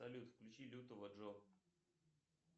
салют включи лютого джо